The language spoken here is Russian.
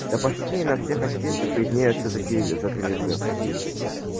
да почти и на всех осинках виднеются такие загрызы